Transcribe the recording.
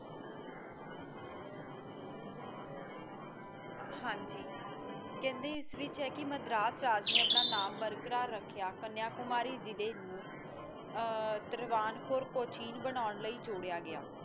ਹਾਂਜੀ ਕਹਿੰਦੇ ਕਿ ਇਸ ਵਿੱਚ ਮਦਰਾਸ ਰਾਜ ਨੇ ਆਪਣਾ ਨਾਂਮ ਬਰਕਰਾ ਰੱਖਿਆ ਕਨਯਾਕੁਮਾਰੀ ਜਿਲੇ ਨੂੰ ਆ ਤਰਵਾਨ ਕੋਣ ਕੋਚੀਨ ਬਣਾਨ